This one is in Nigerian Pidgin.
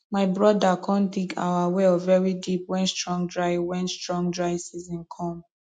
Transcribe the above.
my broda com dig our well very deep wen strong dry wen strong dry season come